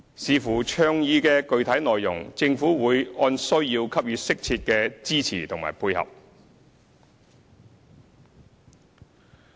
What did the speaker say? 視乎倡議的具體內容，政府會按需要給予適切的支持和配合。